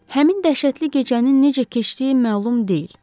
Həmin dəhşətli gecənin necə keçdiyi məlum deyil.